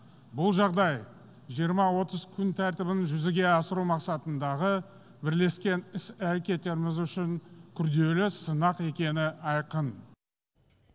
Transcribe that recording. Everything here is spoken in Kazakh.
бұл жағдай жиырма отыз күн тәртібін жүзеге асыру мақсатындағы бірлескен іс әрекеттеріміз үшін күрделі сынақ екені айқын